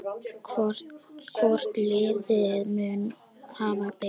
Hvort liðið mun hafa betur?